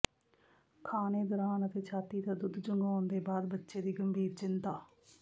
ਖਾਣੇ ਦੌਰਾਨ ਅਤੇ ਛਾਤੀ ਦਾ ਦੁੱਧ ਚੁੰਘਾਉਣ ਦੇ ਬਾਅਦ ਬੱਚੇ ਦੀ ਗੰਭੀਰ ਚਿੰਤਾ